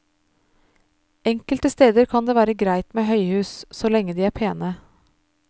Enkelte steder kan det være greit med høyhus, så lenge de er pene.